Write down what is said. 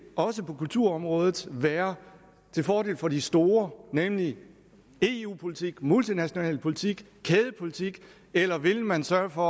også på kulturområdet være til fordel for de store nemlig eu politik multinational politik kædepolitik eller vil man sørge for